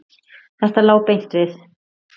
Þetta lá beint við.